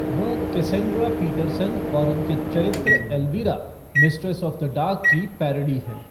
वह Cassandra Peterson और उनके चरित्र Elvira, Mistress of the Dark की पैरोडी है।